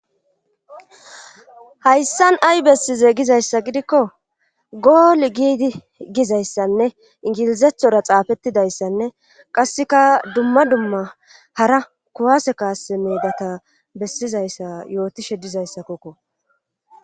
Hayssan ay bessize gizayssa gidikko gool giidi gizayssanne ingilizethora xaafettidayssanne qasseka dumma dumma hara kuwase kaasse meedata bessizayssa yootishe dizayssakokko.